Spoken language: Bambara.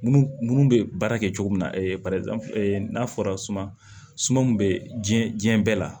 Munnu munnu bɛ baara kɛ cogo min n'a fɔra suma suma bɛ diɲɛ diɲɛ bɛɛ la